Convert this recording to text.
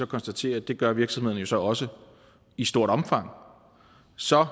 konstatere at det gør virksomhederne jo så også i stort omfang så